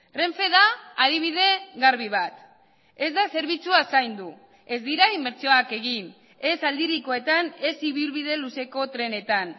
renfe da adibide garbi bat ez da zerbitzua zaindu ez dira inbertsioak egin ez aldirikoetan ez ibilbide luzeko trenetan